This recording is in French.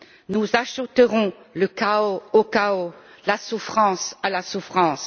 Nous ajouterons le chaos au chaos et la souffrance à la souffrance.